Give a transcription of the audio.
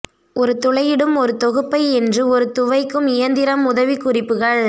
ஒரு துளையிடும் ஒரு தொகுப்பை என்று ஒரு துவைக்கும் இயந்திரம் உதவிக்குறிப்புகள்